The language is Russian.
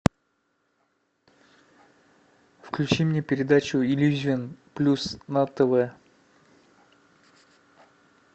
включи мне передачу иллюзион плюс на тв